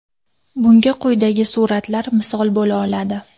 Bunga quyidagi suratlar misol bo‘la oladi.